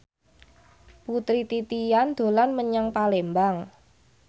Putri Titian dolan menyang Palembang